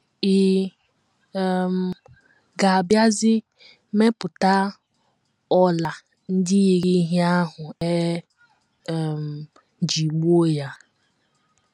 Ị̀ um ga - abịazi mepụta ọla ndị yiri ihe ahụ e um ji gbuo ya?